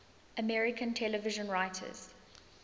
american television writers